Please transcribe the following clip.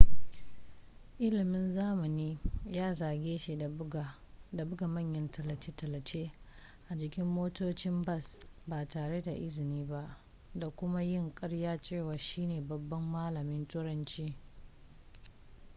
ilimin zamani ya zarge shi da buga manyan tallace-tallace a jikin motocin bas ba tare da izini ba da kuma yin karyar cewa shi ne babban malamin turanci